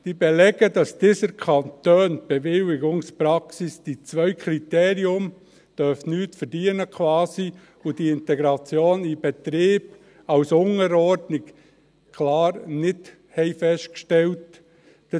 Sie belegen, dass die anderen Kantone in ihrer Bewilligungspraxis die zwei Kriterien – dass Sie quasi nichts verdienen dürfen, und die Integration in den Betrieb als Unterordnung – klar nicht festgestellt haben.